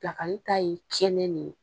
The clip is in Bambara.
Pilakali ta ye tiɲɛnen ne ye